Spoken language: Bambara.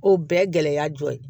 O bɛɛ ye gɛlɛya dɔ ye